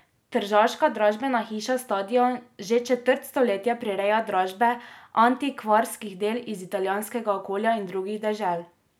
Tržaška dražbena hiša Stadion že četrt stoletja prireja dražbe antikvarskih del iz italijanskega okolja in drugih dežel.